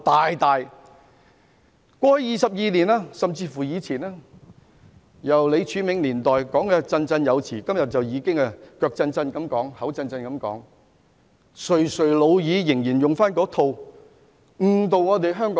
香港回歸已22年，他們在李柱銘年代便振振有詞，今天他們垂垂老矣，手震口震，卻繼續沿用那套說法誤導香港人。